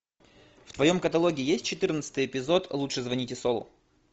в твоем каталоге есть четырнадцатый эпизод лучше звоните солу